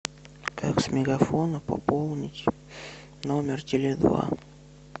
как с мегафона пополнить номер теле два